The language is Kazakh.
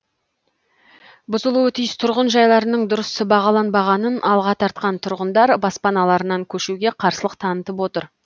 бұзылуы тиіс тұрғын жайларының дұрыс бағаланбағанын алға тартқан тұрғындар баспаналарынан көшуге қарсылық танытып отыр